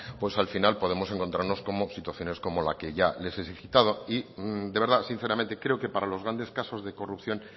al final podemos encontrarnos con situaciones como la que ya les he citado y de verdad sinceramente creo que para los grandes casos de corrupción